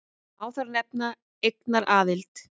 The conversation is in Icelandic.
Má þar nefna eignaraðild.